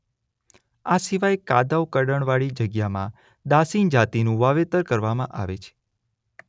આ સિવાય કાદવ કળણ વાળી જગ્યામાં દાશીન જાતિનું વાવેતર કરવામાં આવે છે